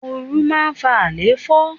Oru máa ń fa alefo.